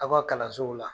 Aw ka kalansow la